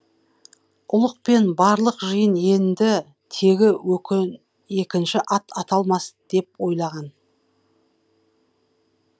ұлық пен барлық жиын енді тегі екінші ат аталмас деп ойлаған